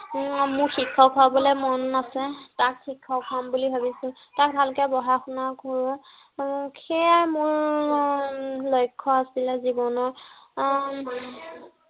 মোৰ শিক্ষক হ'বলে মন আছে। তাক শিক্ষক হম বুলি ভাবিছো। তাক ভালকে পঢ়া শুনা কৰো। উম সেয়াই মোৰ উম লক্ষ্য় আছিলে জীৱনৰ। আহ